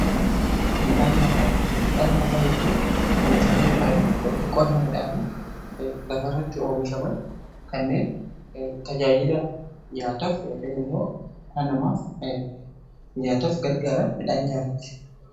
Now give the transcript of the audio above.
Midhaan nyaataa jechuun oomishaalee midhaanii yookaan qonna midhaanii lafa irratti oomishaman kanneen tajaajila nyaataaf yookaan immoo dhala namaaf nyaataaf gargaaran midhaan nyaataati.